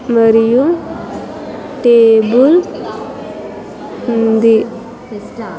మరియు టేబుల్ ఉంది.